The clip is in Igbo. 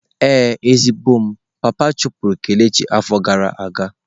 Ee, ezigbo m, papa chụpụrụ kelechi afo gara aga.